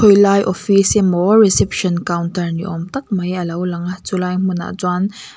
lai office emaw reception counter ni awm tak mai alo langa chulai hmunah chuan--